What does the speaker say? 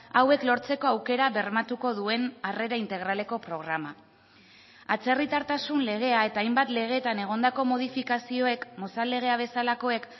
hauek lortzeko aukera bermatuko duen harrera integraleko programa atzerritartasun legea eta hainbat legetan egondako modifikazioek mozal legea bezalakoek